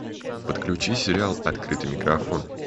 подключи сериал открытый микрофон